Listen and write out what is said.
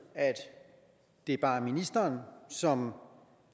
at det bare er ministeren som